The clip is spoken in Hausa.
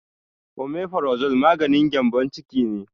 Omefarazole maganin gembon ciki ne